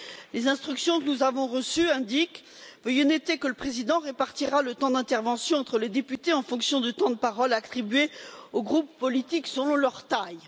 Les instructions que nous avons reçues indiquent Veuillez noter que le Président répartira le temps d'intervention entre les députés en fonction du temps de parole attribué aux groupes politiques selon leur taille.